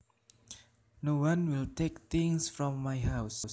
No one will take things from my house